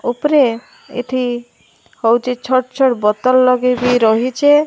ଉପରେ୍ ଏଠି ହୋଉଚି। ଛଟ୍ ଛଟ୍ ବତଲ୍ ଲଗେଇବି ରହିଚେ।